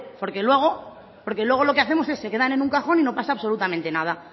porque luego lo que hacemos es se quedan en un cajón y no pasa absolutamente nada